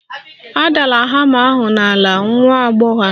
Adala hama ahụ n'ala, nwa agbọghọ a